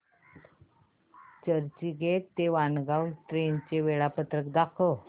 चर्चगेट ते वाणगांव ट्रेन चे वेळापत्रक दाखव